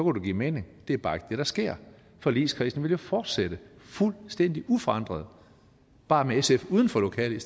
det give mening det er bare ikke det der sker forligskredsen vi jo fortsætte fuldstændig uforandret bare med sf uden for lokalet i